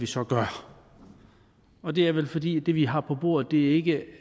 så gør og det er vel fordi det vi har på bordet ikke